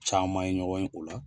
Caman ye ɲɔgɔn ye o la.